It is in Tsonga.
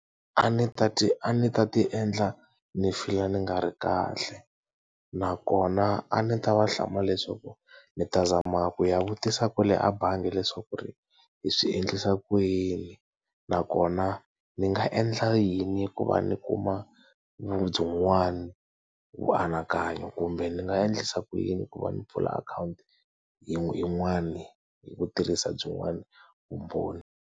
A ni ta ti a ni ta ti endla ni feel-a ni nga ri kahle. Nakona a ni ta va hlamula leswaku, ndzi ta zama ku ya vutisa kwale abangi leswaku ku ri ni swi endlisa ku yini? Nakona ni nga endla yini ku va ni kuma byin'wana vuanakanyo kumbe ni nga endlisa ku yini ku va ni pfula akhawunti yin'wani hi ku tirhisa byin'wana vumbhoni?